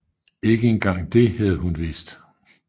Ikke engang det havde hun vidst